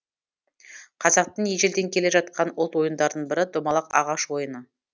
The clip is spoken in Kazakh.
қазақтың ежелден келе жатқан ұлт ойындарының бірі домалақ ағаш ойыны